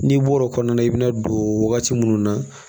N'i bɔr'o kɔnɔna na i bɛna don wagati minnu na